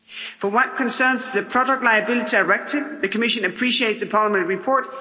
For what concerns the Product Liability Directive, the Commission appreciates the Parliament report.